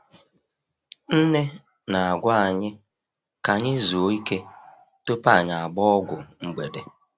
Nne na-agwa anyị ka anyị zuo ike tupu anyị agbaa ọgwụ mgbede.